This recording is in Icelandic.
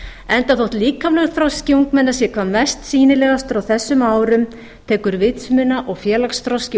enda þótt líkamlegur þroski ungmenna sé hvað mest sýnilegur á þessum árum tekur vitsmuna og félagsþroski